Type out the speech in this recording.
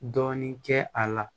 Dɔɔnin kɛ a la